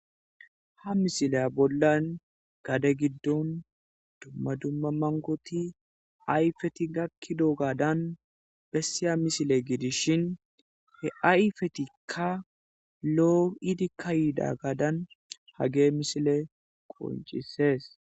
ha misile bollan gade giddon dumma dumma mankoti ayfeti gakki doo gadan bessiya misile gidishin he ayfetikka loo idikka yiida gaadan hage misile qoncisees